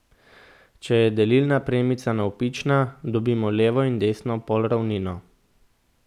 Če je delilna premica navpična, dobimo levo in desno polravnino.